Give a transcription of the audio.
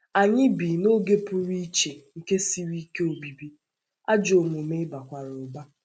Anyị bi ‘ n’oge pụrụ iche nke siri ike obibi, ’ ajọ omume bakwara ụba.